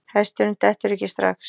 Hesturinn dettur ekki strax.